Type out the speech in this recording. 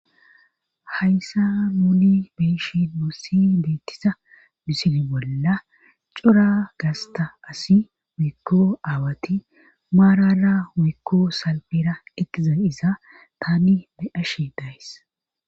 Hayssa muuni beishi nussi beettisa misini bolla cora gasta asi wikko aawati maarara wikko salbera eqiza iza tani be7ashe days.